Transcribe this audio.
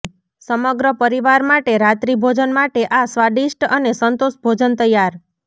સમગ્ર પરિવાર માટે રાત્રિભોજન માટે આ સ્વાદિષ્ટ અને સંતોષ ભોજન તૈયાર